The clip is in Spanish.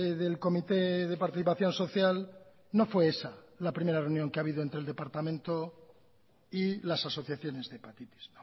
del comité de participación social no fue esa la primera reunión que ha habido entre el departamento y las asociaciones de hepatitis